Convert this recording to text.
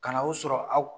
Ka na o sɔrɔ aw